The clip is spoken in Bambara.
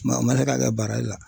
o man se ka kɛ baara la.